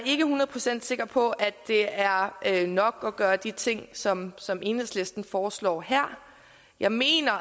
ikke hundrede procent sikker på at det er er nok at gøre de ting som som enhedslisten foreslår her jeg mener